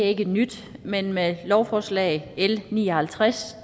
ikke nyt men med lovforslag l ni og halvtreds